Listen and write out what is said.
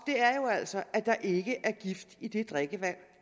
altså at der ikke er gift i det drikkevand